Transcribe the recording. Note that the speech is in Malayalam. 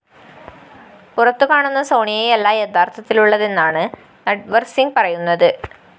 പുറത്തുകാണുന്ന സോണിയയല്ല യഥാര്‍ത്ഥത്തിലുള്ളതെന്നാണ് നട്‌വര്‍സിംഗ് പറയുന്നത്